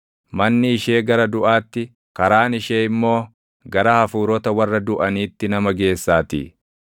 Manni ishee gara duʼaatti, karaan ishee immoo gara hafuurota warra duʼaniitti nama geessaatii.